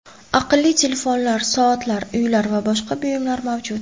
Aqlli telefonlar, soatlar, uylar va boshqa buyumlar mavjud.